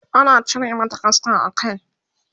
ana cire mata kaska a Kai